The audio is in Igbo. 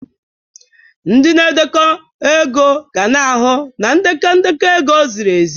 Ndị na-edekọ ego ga-ahụ na ndekọ ndekọ ego ziri ezi.